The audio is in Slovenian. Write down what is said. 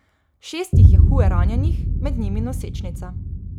Šest jih je huje ranjenih, med njimi nosečnica.